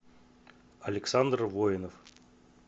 александр воинов